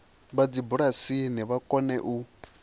vha dzibulasini vha kone u